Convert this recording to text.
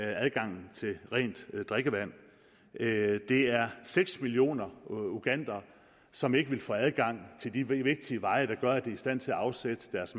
adgangen til rent drikkevand det er seks millioner ugandere som ikke vil få adgang til de vigtige veje der gør at de er i stand til at afsætte deres